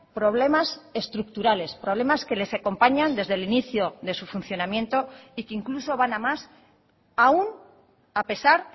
problemas estructurales problemas que les acompañan desde el inicio de su funcionamiento y que incluso van a más aún a pesar